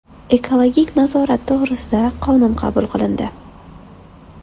Ekologik nazorat to‘g‘risida qonun qabul qilindi.